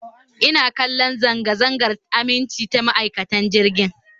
Ina kallon zanga-zangar aminci ta ma'aikacin jirgin